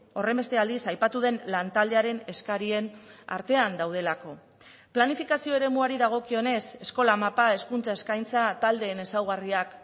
horrenbeste aldiz aipatu den lantaldearen eskarien artean daudelako planifikazio eremuari dagokionez eskola mapa hezkuntza eskaintza taldeen ezaugarriak